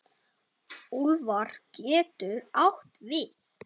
Úlfar getur átt við